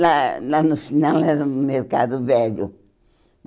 Lá lá no final era o Mercado Velho.